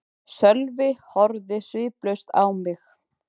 Sölvi horfði sviplaus á mig.